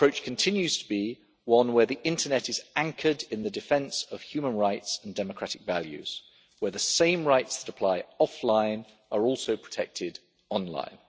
Our approach continues to be one where the internet is anchored in the defence of human rights and democratic values, where the same rights that apply offline are also protected online.